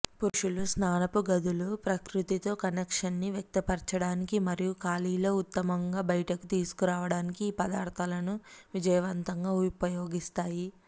పురుషుల స్నానపు గదులు ప్రకృతితో కనెక్షన్ని వ్యక్తపరచడానికి మరియు ఖాళీలో ఉత్తమంగా బయటకు తీసుకురావడానికి ఈ పదార్థాలను విజయవంతంగా ఉపయోగిస్తాయి